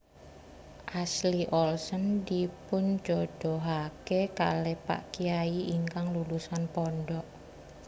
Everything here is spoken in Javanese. Ashley Olsen dipunjodohake kalih pak kyai ingkang lulusan pondok